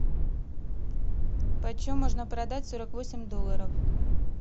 почем можно продать сорок восемь долларов